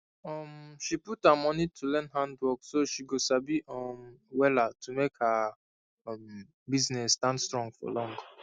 um she put her money to go learn handworkso she go sabi um wella to make her um business stand strong for long